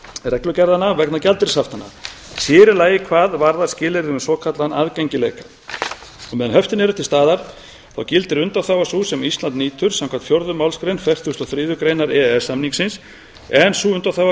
reglugerðanna vegna gjaldeyrishaftanna sér í lagi hvað varðar skilyrði um svokallaðan aðgengileika á meðan höftin eru til staðar gildir undanþága sú sem ísland nýtur samkvæmt fjórðu málsgrein fertugustu og þriðju greinar e e s samningsins en sú undanþága